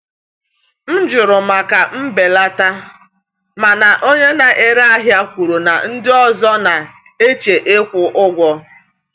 M jụrụ maka mbelata, mana onye na-ere ahịa kwuru na ndị ọzọ na-eche ịkwụ ụgwọ.